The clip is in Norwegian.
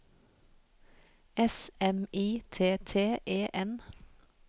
S M I T T E N